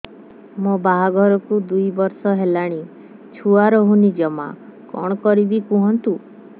ମୋ ବାହାଘରକୁ ଦୁଇ ବର୍ଷ ହେଲାଣି ଛୁଆ ରହୁନି ଜମା କଣ କରିବୁ କୁହନ୍ତୁ